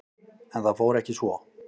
En það fór ekki svo.